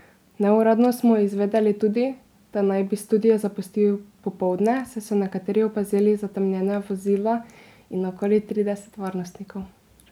Neuradno smo izvedeli tudi, da naj bi studio zapustil popoldne, saj so nekateri opazili zatemnjena vozila in okoli trideset varnostnikov.